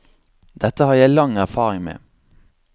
Dette har jeg lang erfaring med.